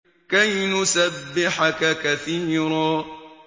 كَيْ نُسَبِّحَكَ كَثِيرًا